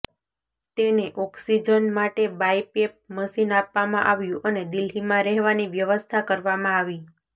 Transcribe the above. તેને ઓક્સીજન માટે BiPAP machine આપવામાં આવ્યું અને દિલ્હીમાં રહેવાની વ્યવસ્થા કરવામાં આવી